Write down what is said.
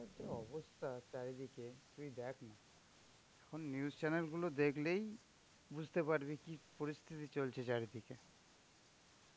অবস্থা চারিদিকে তুই দেখ না এখন news chanel গুলো দেখলেই বুঝতে পারবি যে কি পরিস্থিতি চলছে চারিদিকে.